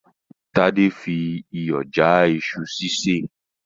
Tádé fi iyọ̀ já iṣu sísè